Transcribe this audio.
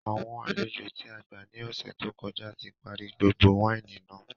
Àwọn àlejò tí a gbà ní ọ̀sẹ̀ tó kọjá tí parí gbogbo wáìnì náà